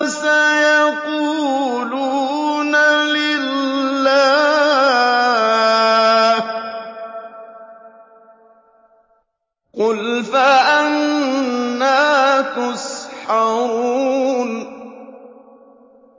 سَيَقُولُونَ لِلَّهِ ۚ قُلْ فَأَنَّىٰ تُسْحَرُونَ